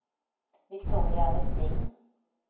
Viktoria Vestin